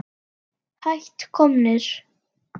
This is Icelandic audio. Hætt komnir.